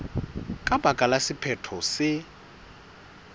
ka baka la sephetho se